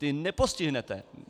Ty nepostihnete.